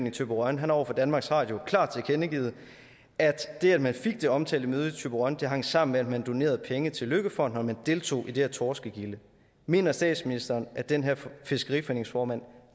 i thyborøn har over for danmarks radio klart tilkendegivet at det at man fik det omtalte møde i thyborøn hang sammen med at man donerede penge til løkkefonden og at man deltog i det her torskegilde mener statsministeren at den her fiskeriforeningsformand